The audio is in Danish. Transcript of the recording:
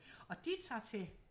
Og de tager til